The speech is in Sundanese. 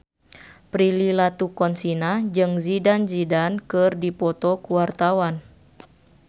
Prilly Latuconsina jeung Zidane Zidane keur dipoto ku wartawan